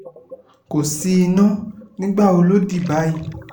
kò sí iná nígbà wo ló di báyìí